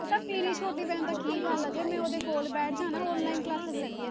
ਮੇਰੀ ਛੋਟੀ ਭੈਣ ਦਾ ਕੀ ਗੱਲ ਆ, ਜੇ ਮੈਂ ਉਹਦੇ ਕੋਲ ਬੈਠ ਜਾਵਾਂ ਨਾ online classes ਲੈਂਦੀ ਆ